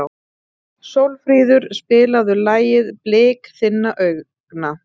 Sólfríður, spilaðu lagið „Blik þinna augna“.